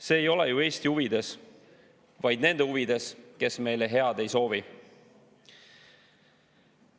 See ei ole ju Eesti huvides, vaid nende huvides, kes meile head ei soovi.